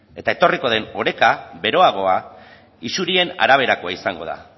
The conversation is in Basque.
eta etorriko den oreka beroagoa isurien araberakoa izango da